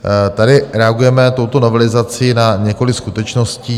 Tady reagujeme touto novelizací na několik skutečností.